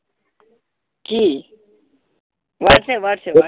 কি whatsapp whatsapp whatsapp